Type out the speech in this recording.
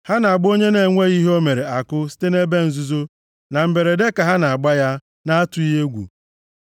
Ha na-agba onye na-enweghị ihe o mere àkụ site nʼebe nzuzo, na mberede ka ha na-agba ya, na-atụghị egwu.